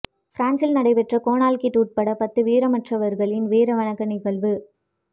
பிரான்சில் நடைபெற்ற கேணல் கிட்டு உட்பட பத்து வீரமறவர்களின் வீரவணக்க நிகழ்வு